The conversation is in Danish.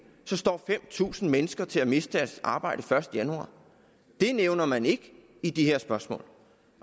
så står fem tusind mennesker til at miste deres arbejde den første januar det nævner man ikke i de her spørgsmål